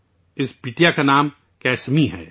اس بیٹی کا نام کسمی ہے